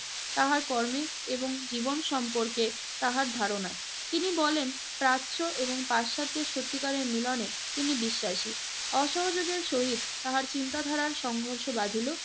তাহার কর্মে এবং জীবন সম্পর্কে তাহার ধারণায়। তিনি বলেন, প্রাচ্য এবং পাশ্চাত্যের সত্যিকারের মিলনে তিনি বিশ্বাসী। অসহযোগের সহিত তাহার চিন্তাধারার সংঘর্ষ বাধিল।